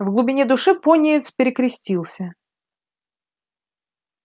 в глубине души пониетс перекрестился